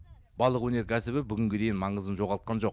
балық өнеркәсібі бүгінге дейін маңызын жоғалтқан жоқ